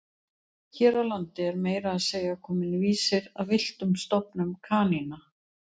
Hér á landi er meira að segja kominn vísir að villtum stofnum kanína.